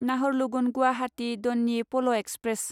नाहरलगुन गुवाहाटी दन्यि प'ल' एक्सप्रेस